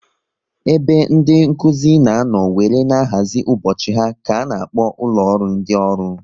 Ebe ndị Nkụzi na anọ wéré na-ahazi ụbọchị ha ka a na-akpọ ụlọ ọrụ ndị ọrụ